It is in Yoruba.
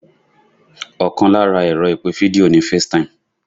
Ọkàn lára ẹ̀rọ ìpè fídíò ni FaceTime